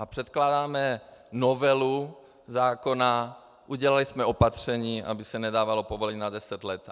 A předkládáme novelu zákona, udělali jsme opatření, aby se nedávalo povolení na deset let.